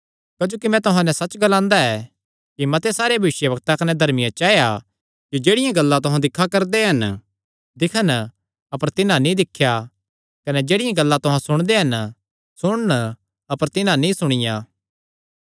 क्जोकि मैं तुहां नैं सच्च ग्लांदा ऐ कि मते सारे भविष्यवक्तां कने धर्मियां चाया कि जेह्ड़ियां गल्लां तुहां दिक्खा करदे हन दिक्खन अपर तिन्हां नीं दिक्खियां कने जेह्ड़ियां गल्लां तुहां सुणदे हन सुणन अपर तिन्हां नीं सुणियां